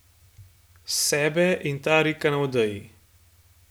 Sebe in Tarika na odeji.